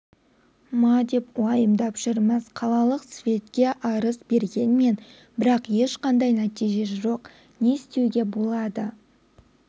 ма деп уайымдап жүрміз қалалық светке арыз бергенмін бірақ ешқандай нәтиже жоқ не істеуге болады